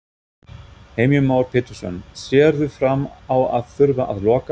Heimir Már Pétursson: Sérðu fram á að þurfa að loka?